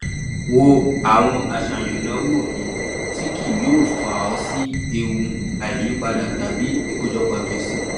wo àwọn àṣàyàn ináwó míì tí kì yóò fa ọ sí ewu àìyípádà tàbí ikojọpọ gbèsè